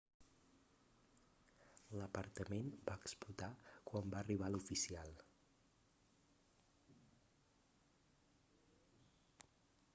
l'apartament va explotar quan va arribar l'oficial